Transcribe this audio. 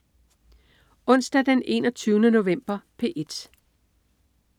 Onsdag den 21. november - P1: